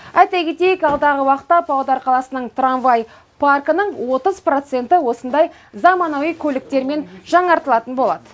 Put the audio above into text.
айта кетейік алдағы уақытта павлодар қаласының трамвай паркінің отыз проценті осындай заманауи көліктермен жаңартылатын болады